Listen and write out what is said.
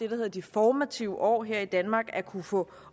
hedder de formative år her i danmark at kunne få